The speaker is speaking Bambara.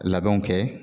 Labɛnw kɛ